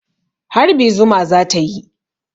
Harbi zuma za ta yi.